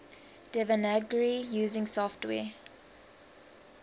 devanagari using software